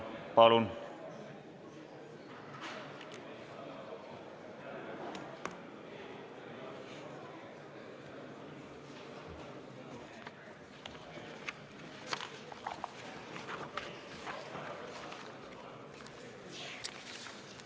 Palun!